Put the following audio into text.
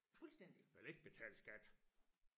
jeg vil ikke betale skat